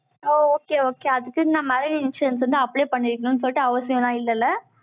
ஓ, okay, okay அதுக்குன்னு, இந்த மாதிரி insurance வந்து, apply பண்ணிக்கணும்ன்னு சொல்லிட்டு, அவசியம் எல்லாம் இல்லைல்ல?